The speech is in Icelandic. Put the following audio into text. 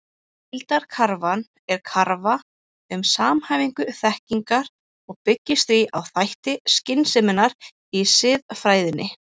Heildarkrafan er krafa um samhæfingu þekkingar og byggist því á þætti skynseminnar í siðfræðinni.